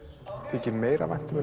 þykir meira vænt um